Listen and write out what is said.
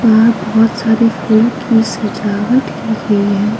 बाहर बहुत सारे फूलों की सजावट की गई हैं।